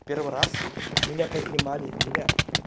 первый раз меня поднимали меня